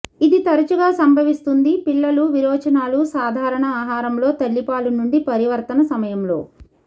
ఇది తరచుగా సంభవిస్తుంది పిల్లుల విరోచనాలు సాధారణ ఆహారంలో తల్లిపాలు నుండి పరివర్తన సమయంలో